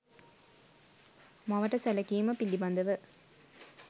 මවට සැලකීම පිළිබඳව